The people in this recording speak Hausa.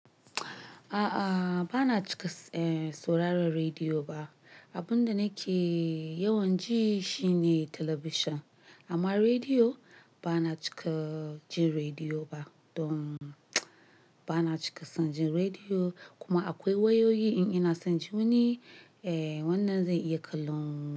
A'a, ba na cika sauraron rediyo ba. Abin da nake yawan ji shi ne talabijin. Amma rediyo, ba na cika jin rediyo ba. Don ba na cika son jin rediyo kuma akwai wayoyi in ina son ji wuni, wannan zai yi kalon.